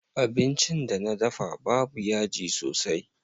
Abincin da na dafa babu yaji sosai.